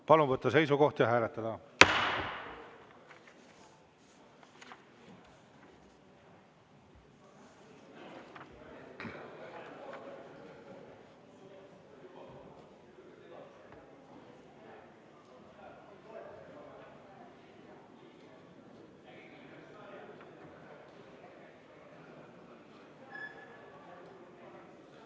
Palun võtta seisukoht ja hääletada!